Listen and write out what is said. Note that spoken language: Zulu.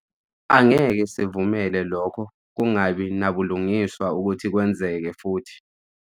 Angeke sivumele lokho kungabi nabulungiswa ukuthi kwenzeke futhi.